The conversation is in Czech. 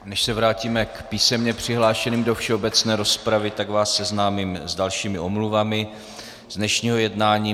Než se vrátíme k písemně přihlášeným do všeobecné rozpravy, tak vás seznámím s dalšími omluvami z dnešního jednání.